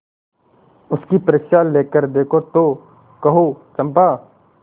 उसकी परीक्षा लेकर देखो तो कहो चंपा